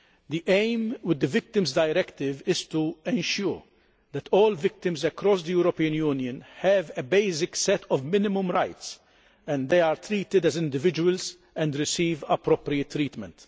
The aim with the Victims Directive is to ensure that all victims across the European Union have a basic set of minimum rights, that they are treated as individuals and receive appropriate treatment.